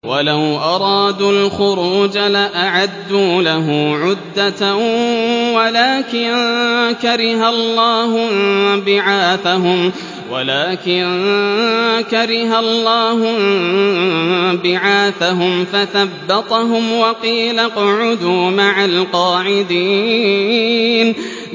۞ وَلَوْ أَرَادُوا الْخُرُوجَ لَأَعَدُّوا لَهُ عُدَّةً وَلَٰكِن كَرِهَ اللَّهُ انبِعَاثَهُمْ فَثَبَّطَهُمْ وَقِيلَ اقْعُدُوا مَعَ الْقَاعِدِينَ